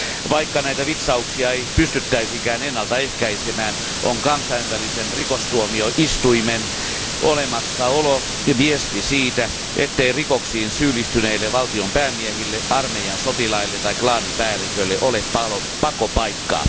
Vaikka näitä vitsauksia ei pystyttäisikään ennalta ehkäisemään, on Kansainvälisen rikostuomioistuimen olemassaolo viesti siitä, ettei rikoksiin syyllistyneille valtion päämiehille, armeijan sotilaille tai klaanipäälliköille ole pakopaikkaa.